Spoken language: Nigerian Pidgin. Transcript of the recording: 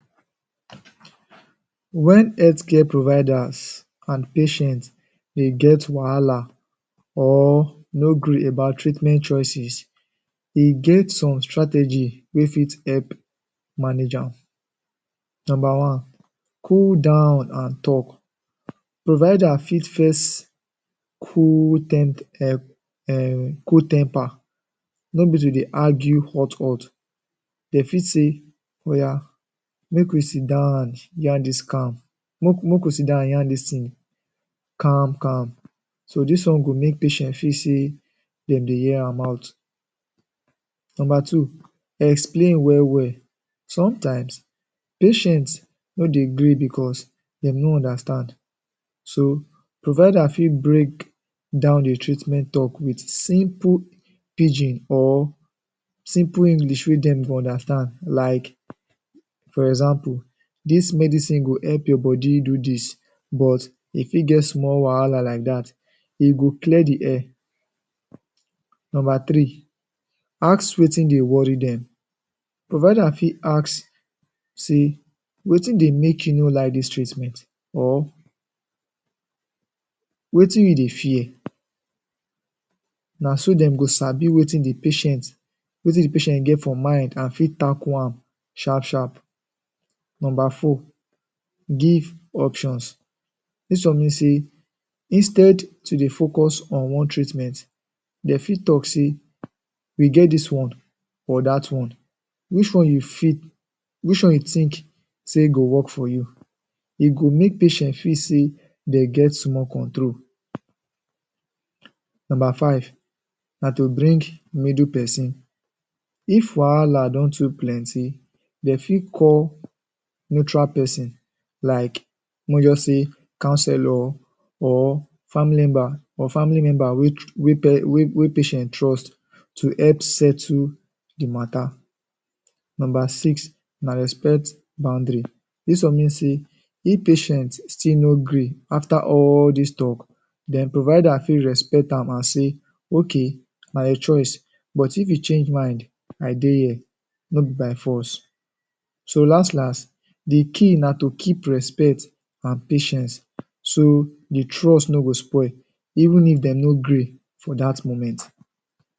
Wen health care providers and patient dey get wahala or no gree about treatment choices, e get some strategy wey fit help manage am. Number one, cool down and talk. Provider fit first cool temp? um cool temper, no be to dey argue hot hot. Dey fit say “Oya make we sit down yarn dis calm, make we sit down yarn dis thing calm calm”. So dis one go make patient feel say dem dey hear am out. Number two, explain well well. Sometimes, patient no dey gree because dem no understand so provider fit break down the treatment talk wit simple pidgin or simple English wey dem go understand like for example, “dis medicine go help your body do dis but e fit get small wahala like dat”. E go clear the air. Number three, ask wetin dey worry dem. Provider fit ask say, “wetin dey make you no like dis treatment? Or, wetin you dey fear?” Na so dem go sabi wetin the patient wetin the patient get for mind and fit tackle am sharp sharp. Number four, give options. This one mean say, instead instead to dey focus on one treatment, dey fit talk say, we get this one or dat one, which one which one you fit… which one you think say go work for you”. E go make patient feel say dey get small control. Number five, na to bring middle person.. If wahala don too plenty, dem fit call neutral person like make we just say counselor or? or family member wey? wey patient trust to help settle the matter. Number six, na respect boundary. Dis one mean say if patient still no gree after all dis talk, den provider fit respect am and say, “ok, na your choice but if you change mind, I dey here. No be by force”. So las las, the key na to keep respect and patience so the trust no go spoil if dem no gree for dat moment.